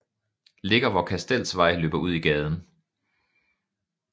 Ligger hvor Kastelsvej løber ud i gaden